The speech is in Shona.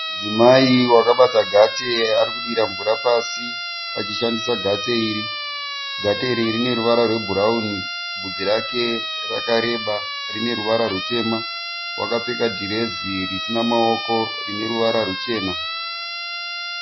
Mudzimai wakabata gate ari kudira mvura pasi achishandisa gate iri. Gate iri rine ruvara rwebhurawuni. Bvudzi rake rakareba rine ruvara rutema. Wakapfeka dhirezi risina maoko rine ruvara ruchena.